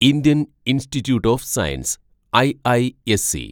Indian Institute of Science (IISc)